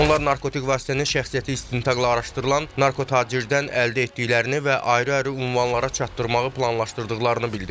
Onlar narkotik vasitənin şəxsiyyəti istintaqla araşdırılan narkotacirdən əldə etdiklərini və ayrı-ayrı ünvanlara çatdırmağı planlaşdırdıqlarını bildiriblər.